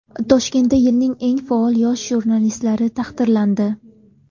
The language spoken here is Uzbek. Toshkentda yilning eng faol yosh jurnalistlari taqdirlandi .